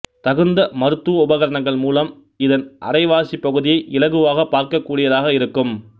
தகுந்த மருத்துவ உபகரணங்கள் மூலம் இதன் அரைவாசிப் பகுதியை இலகுவாகப் பார்க்கக் கூடியதாக இருக்கும்